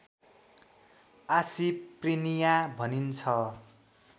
आसी प्रिनिया भनिन्छ